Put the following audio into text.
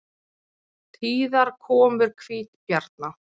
Tíðar komur hvítabjarna